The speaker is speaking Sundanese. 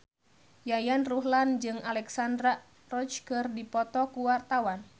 Yayan Ruhlan jeung Alexandra Roach keur dipoto ku wartawan